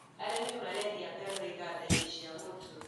Arĩmi marendia ngano igandainĩ cia mũtu.